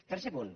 tercer punt